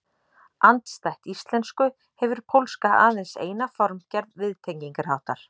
Andstætt íslensku hefur pólska aðeins eina formgerð viðtengingarháttar.